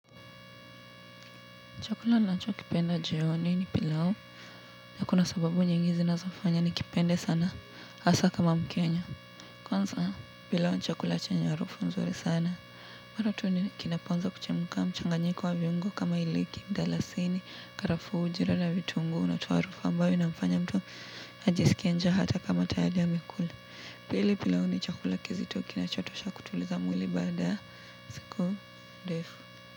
Chakula ninacho kipenda jioni ni pilau na kuna sababu nyingi zinazofanya nikipende sana hasa kama mkenya kwanza pilau ni chakula chenye harufu nzuri sana mara tu ni kinapoanza kuchemka mchanganyiko wa viungo kama iriki mdalasini karafuu ujira na vitunguu unatoa harufu ambayo inamfanya mtu ajisikie njaa hata kama tayari amekula pili pilau ni chakula kizito kinachotosha kutuliza mwili baada ya siku ndefu.